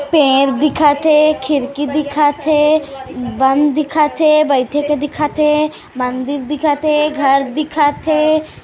पेड़ दिखत हे खिरकी दिखत हे बन दिखत हे बईठे के दिखत हे मंदिर दिखत हे घर दिखत हे।